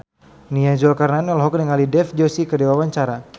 Nia Zulkarnaen olohok ningali Dev Joshi keur diwawancara